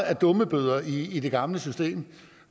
af dummebøder i i det gamle system